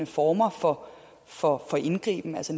former for for indgriben altså